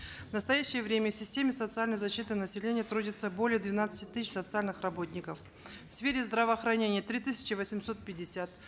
в настоящее время в системе социальной защиты населения трудится более двенадцати тысяч социальных работников в сфере здравоохранения три тысячи восемьсот пятьдесят